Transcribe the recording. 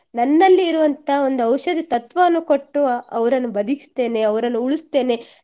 ನನ್ನಲ್ಲಿ ಇರುವಂತಹ ಒಂದು ಔಷದಿ ತತ್ವವನ್ನು ಕೊಟ್ಟು ಅವರನ್ನು ಬದಿಕಿಸ್ತೇನೆ ಅವರನ್ನು ಉಳಿಸ್ತೇನೆ